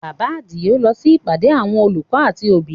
Bàbá Adio lọ sí ìpàdé àwọn olùkọ́ àti òbí